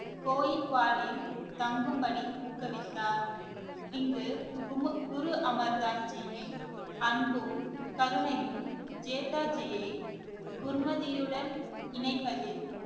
தங்கும்படி ஊக்குவித்தார் இங்கு கும~ குரு அமர் தாஸ் ஜியின் அன்பும் கருணையும் ஜேதாஜியை குர்மதியுடன் இணைப்பதில்